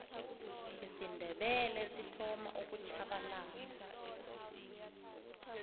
isindebele sithoma ukutjhabalala